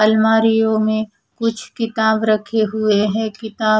अलमारियों में कुछ किताब रखे हुए हैं किताब--